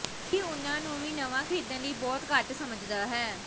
ਇਹ ਉਨ੍ਹਾਂ ਨੂੰ ਨਵਾਂ ਖਰੀਦਣ ਲਈ ਬਹੁਤ ਘੱਟ ਸਮਝਦਾ ਹੈ